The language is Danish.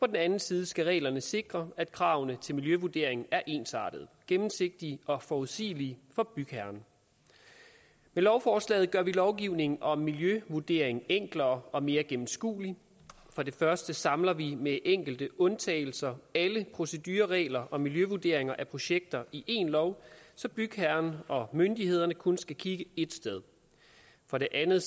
den anden side skal reglerne sikre at kravene til miljøvurdering er ensartede gennemsigtige og forudsigelige for bygherren med lovforslagene gør vi lovgivningen om miljøvurdering enklere og mere gennemskuelig for det første samler vi med enkelte undtagelser alle procedureregler og miljøvurderinger af projekter i én lov så bygherrer og myndigheder kun skal kigge ét sted for det andet